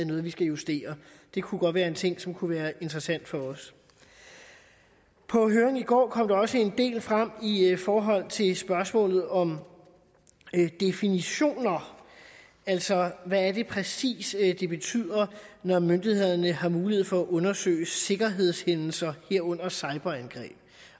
noget vi skal justere det kunne godt være en ting som kunne være interessant for os på høringen i går kom der også en del frem i forhold til spørgsmålet om definitioner altså hvad det præcis er det betyder når myndighederne har mulighed for at undersøge sikkerhedshændelser herunder cyberangreb